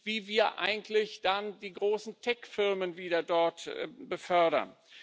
wie wir eigentlich dann die großen Tech Firmen wieder dort befördern.